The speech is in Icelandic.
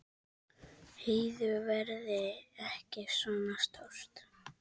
Heiðu verði ekki svona stór.